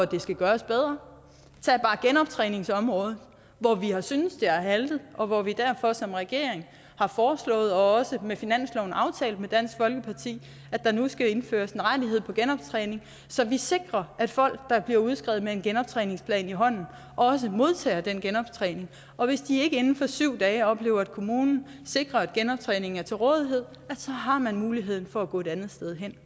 det skal gøres bedre tag bare genoptræningsområdet hvor vi har syntes at det har haltet og hvor vi derfor som regering har foreslået og også med finansloven aftalt med dansk folkeparti at der nu skal indføres en rettighed til genoptræning så vi sikrer at folk der bliver udskrevet med en genoptræningsplan i hånden også modtager den genoptræning og hvis de ikke inden for syv dage oplever at kommunen sikrer at genoptræningen er til rådighed så har man muligheden for at gå et andet sted hen